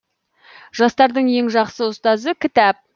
жастардың ең жақсы ұстазы кітап